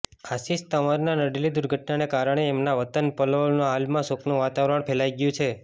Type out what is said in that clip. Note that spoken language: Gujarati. આશિષ તંવરને નડેલી દુર્ઘટનાને કારણે એમના વતન પલવલમાં હાલ શોકનું વાતાવરણ ફેલાઈ ગયું છે